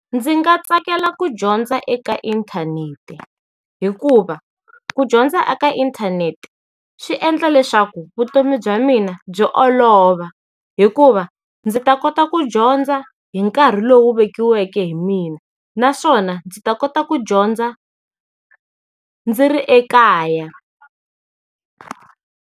Ndzi nga tsakela ku dyondza eka inthanete, hikuva, ku dyondza eka inthanete, swi endla leswaku vutomi bya mina byi olova, hikuva ndzi ta kota ku dyondza hi nkarhi lowu vekiweke hi mina naswona ndzi ta kota ku dyondza ndzi ri ekaya.